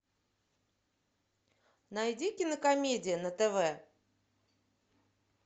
найди кинокомедия на тв